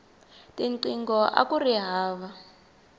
tinqingho akuri hava